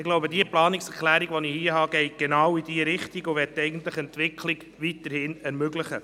Meine Planungserklärung geht in genau diese Richtung und möchte weiterhin Entwicklung ermöglichen.